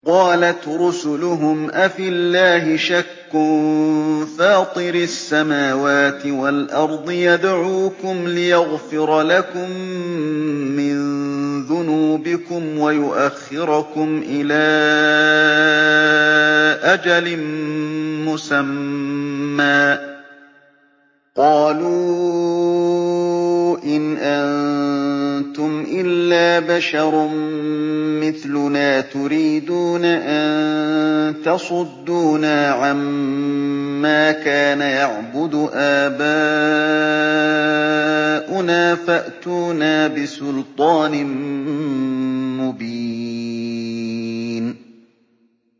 ۞ قَالَتْ رُسُلُهُمْ أَفِي اللَّهِ شَكٌّ فَاطِرِ السَّمَاوَاتِ وَالْأَرْضِ ۖ يَدْعُوكُمْ لِيَغْفِرَ لَكُم مِّن ذُنُوبِكُمْ وَيُؤَخِّرَكُمْ إِلَىٰ أَجَلٍ مُّسَمًّى ۚ قَالُوا إِنْ أَنتُمْ إِلَّا بَشَرٌ مِّثْلُنَا تُرِيدُونَ أَن تَصُدُّونَا عَمَّا كَانَ يَعْبُدُ آبَاؤُنَا فَأْتُونَا بِسُلْطَانٍ مُّبِينٍ